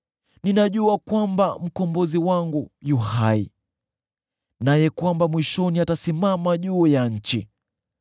Ninajua kwamba Mkombozi wangu yu hai, naye kwamba mwishoni atasimama juu ya nchi.